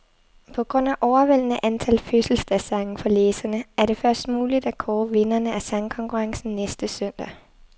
På grund af overvældende antal fødselsdagssange fra læserne, er det først muligt at kåre vinderne af sangkonkurrencen næste søndag.